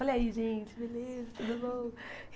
Olha aí, gente, beleza, tudo bom.